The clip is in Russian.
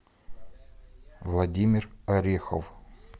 владимир орехов